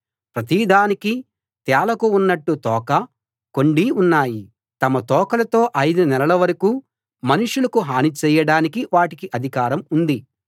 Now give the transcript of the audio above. ప్రతిదానికీ తేళ్ళకు ఉన్నట్టు తోకా కొండీ ఉన్నాయి తమ తోకలతో ఐదు నెలల వరకూ మనుషులకు హని చేయడానికి వాటికి అధికారం ఉంది